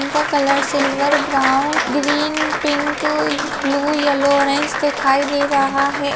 इनका colour silver brown green pink uh blue yellow orange दिखाई दे रहा हैं।